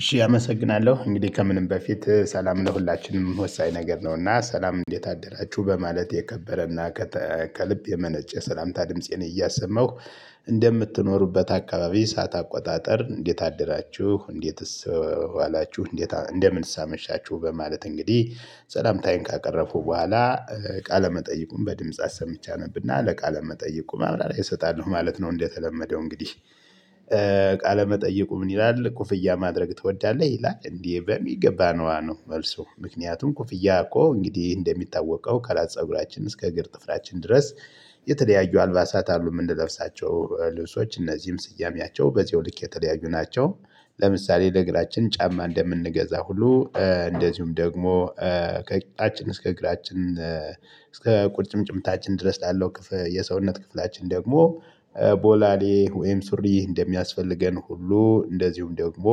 እሺ አመሰግናለሁ እንግዲህ ከምንም በፊት ሰላም ነው ለሁላችንም ወሳኝ ነገር ነውና ሰላም እንዴት አደራችሁ በማለት የከበረና ከልብ የመነጨ የሰላምታ ድምፄን እያሰማሁ እንደምትኖሩበት አካባቢ ሰዓት አቆጣጠር እንዴት አደራችሁ እንዴትስ ዋላችሁ እንዴት እንደምን አመሻችሁ በማለት እንግዲህ ሰላምታዬን ካቀረብኩ በኋላ ቃለ መጠይቁን በድምጽ አሰምቼ አነብና ለቃለ መጠይቁ ማብራሪያ እሰጣለሁ ማለት ነው። እንደተለመደው እንግዲህ ቃለ መጠይቁ ምን ይላል ኩፍያ ማድረግ ትወዳለህ? ይላል እንዴ በሚገባ ነው ነው መልሱ ምክንያቱም ክፍያ እኮ እንግዲህ እንደሚታወቀው ከራስ ፀጉራችን እስከ እግር ጥፍራችን ድረስ የተለያዩ አልባሳት አሉ የምንለብሳቸው ልብሶች እነዚህም ስያሜያቸው በዚያው ልክ የተለያዩ ናቸው። ለምሳሌ ለግራችን ጫማ እንደምንገዛ ሁሉ እንደዚሁም ደግሞ ከቂጣችን እስከ እግራችን እስከ ቁርጭምጭምታችን ድረስ ላለው የሰውነት ክፍላችን ደግሞ ቦላሌ ወይም ሱሪ እንደሚያስፈልገን ሁሉ እንደዚሁም ደግሞ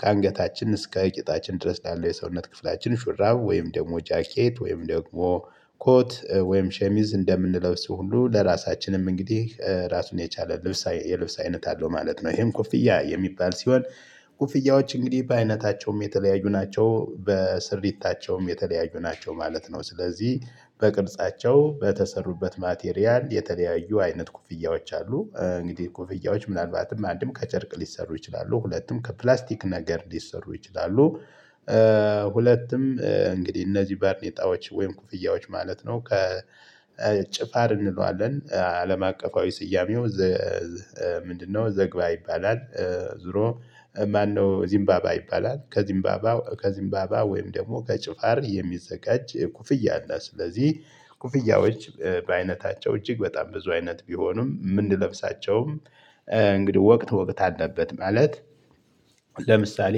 ከአንገታችን እስከ ቂጣችን ድረስ ላለው የሰውነት ክፍላችን ሹራብ ወይም ደግሞ ጃኬት ወይም ደግሞ ኮት ወይም ሸሚዝ እንደምንለብስ ሁሉ ለራሳችንም እንግዲህ ራሱን የቻለ ልብስ የልብስ አይነት አለው ማለት ነው። ይሄም ኩፍያ የሚባል ሲሆን ኩፍያዎች እንግዲህ በአይነታቸውም የተለያዩ ናቸው በስርየታቸውም የተለያዩ ናቸው ማለት ነው። ስለዚህ በቅርጻቸው በተሰሩበት ማቴሪያል የተለያዩ አይነት ኩፍያዎች አሉ። እንግዲህ ኩፍያዎች ምናልባትም አንድም ከጨርቅ ሊሰሩ ይችላሉ ሁለቱም ከፕላስቲክ ነገር ሊሰሩ ይችላሉ። ሁለቱም እንግዲህ እነዚህ ባርኔጣዎች ወይም ኩፍያዎች ማለት ነው። ከ ጭፋር እንለዋለን አለማቀፋዊ ስያሜው ምንድነው? ዘግባ ይባላል ዙሮ ማነው ዚምባባ ይባላል። ከዚምባባ ከዚምባባ ወይም ደግሞ ከጭፋር የሚዘጋጅ ኩፍያ አለ። ስለዚህ ኩፍያዎች በአይነታቸው እጅግ በጣም ብዙ አይነት ቢሆኑም ምን ልብሳቸውም እንግዲህ ወቅት ወቅት አለበት። ማለት ለምሳሌ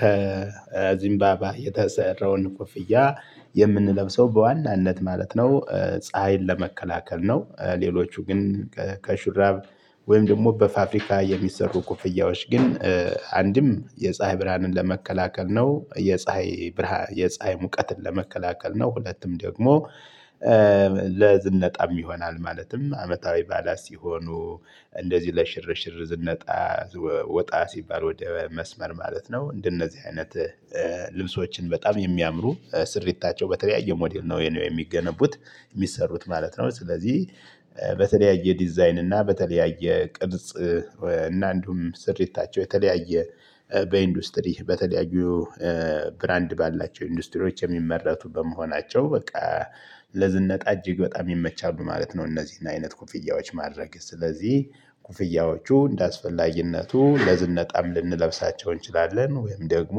ከዚምባባ የተሰራውን ኮፍያ የምንለብሰው በዋናነት ማለት ነው ፀሀይን ለመከላከል ነው። ሌሎቹ ግን ከሹራብ ወይም ደግሞ በፋብሪካ የሚሰሩ ኮፍያዎች ግን አንድም የፀሀይ ብርሃንን ለመከላከል ነው የፀሀይ ብርሃን የፀሀይ ሙቀትን ለመከላከል ነው። ሁለቱም ደግሞ ለዝነጣም ይሆናል ማለትም አመታዊ ባላስ ሲሆኑ እንደዚህ ለሽርሽር ዝንጣ ወጣ ሲባል ወደ መስመር ማለት ነው። እንደነዚህ አይነት ልብሶችን በጣም የሚያምሩ ስርየታቸው በተለያየ ሞዴል ነው የሚገነቡት የሚሰሩት ማለት ነው። ስለዚህ በተለያየ ዲዛይን እና በተለያየ ቅርጽ እና እንዲሁም ስርየታቸው የተለያየ በኢንዱስትሪ በተለያዩ ብራንድ ባላቸው ኢንዱስትሪዎች የሚመረቱ በመሆናቸው በቃ ለዝነጣ እጅግ በጣም ይመቻሉ ማለት ነው። እነዚህን አይነት ኩፍያዎች ማድረግ ስለዚህ ኩፍያዎቹ እንደአስፈላጊነቱ ለዝነጣም ልንለብሳቸው እንችላለን ወይም ደግሞ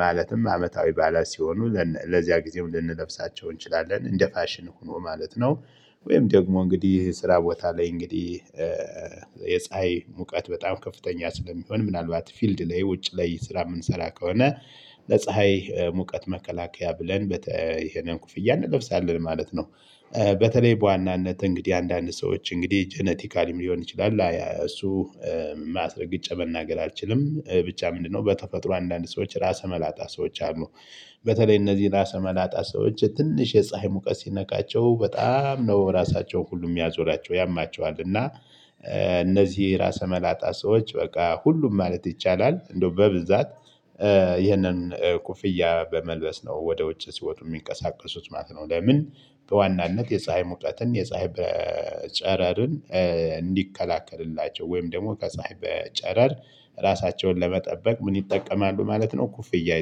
ማለትም አመታዊ ባዓላት ሲሆኑ ለዚያ ጊዜም ልንለብሳቸው እንችላለን እንደ ፋሽን ሁኖ ማለት ነው። ወይም ደግሞ እንግዲህ ስራ ቦታ ላይ እንግዲህ የፀሀይ ሙቀት በጣም ከፍተኛ ስለሚሆን ምናልባት ፊልድ ላይ ውጭ ላይ ስራ የምንሰራ ከሆነ ለፀሀይ ሙቀት መከላከያ ብለን ይሄንን ኮፍያ እንለብሳለን ማለት ነው። በተለይ በዋናነት እንግዲህ አንዳንድ ሰዎች እንግዲህ ጄኔቲካሊም ሊሆን ይችላል። እሱ አስረግጫ መናገር አልችልም ብቻ ምንድነው? በተፈጥሮ አንዳንድ ሰዎች ራሰ መላጣ ሰዎች አሉ። በተለይ እነዚህ ራሰ መላጣ ሰዎች ትንሽ የፀሀይ ሙቀት ሲነከቸው በጣም ነው ራሳቸውን ሁሉ የሚያዞራቸው ያማቸዋል። እና እነዚህ ራሰ መላጣ ሰዎች በቃ ሁሉም ማለት ይቻላል እንደው በብዛት ይህንን ኩፍያ በመልበስ ነው ወደ ውጭ ሲወጡ የሚንቀሳቀሱት ማለት ነው። ለምን? በዋናነት የፀሀይ ሙቀትን የፀሀይ በ ጨረርን እንዲከላከልላቸው ወይም ደግሞ ከፀሀይ በጨረር ራሳቸውን ለመጠበቅ ምን ይጠቀማሉ ማለት ነው። ኮፍያ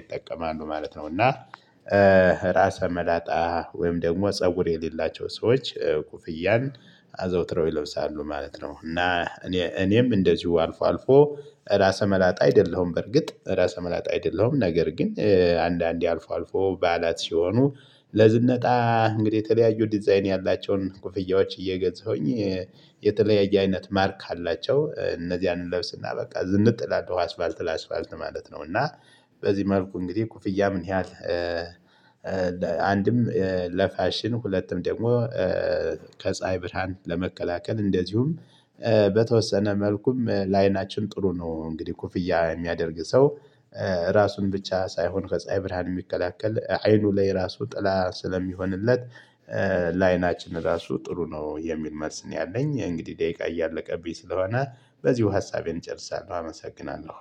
ይጠቀማሉ ማለት ነው። እና ራሰ መላጣ ወይም ደግሞ ፀጉር የሌላቸው ሰዎች ኮፍያን አዘውትረው ይለብሳሉ ማለት ነው። እና እኔ እኔም እንደዚሁ አልፎ አልፎ ራሰ መላጣ አይደለሁም በርግጥ ራሰ መላጣ አይደለሁም። ነገር ግን አንዳንዴ አልፎ አልፎ ባዓላት ሲሆኑ ለዝነጣ እንግዲህ የተለያዩ ዲዛይን ያላቸውን ኩፍያዎች እየገዛሁኝ የተለያየ አይነት ማርክ አላቸው እነዚህን እንለብስና በቃ ዝንጥ እላለሁ አስፋልት ለአስፋልት ማለት ነው። እና በዚህ መልኩ እንግዲህ ኮፍያ ምን ያህል አንድም ለፋሽን ሁለቱም ደግሞ ከፀሀይ ብርሃን ለመከላከል እንደዚሁም በተወሰነ መልኩም ለአይናችን ጥሩ ነው እንግዲህ ኮፍያ የሚያደርግ ሰው ራሱን ብቻ ሳይሆን ከፀሀይ ብርሃን የሚቀላቀል አይኑ ላይ ራሱ ጥላ ስለሚሆንለት ላይናችን ራሱ ጥሩ ነው የሚል መልስ ነው። ያለኝ እንግዲህ ደቂቃ እያለቀብኝ ስለሆነ በዚሁ ሀሳቤን እጨርሳለሁ። አመሰግናለሁ።